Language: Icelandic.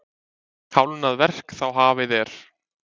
Hálfnað verk þá hafið er.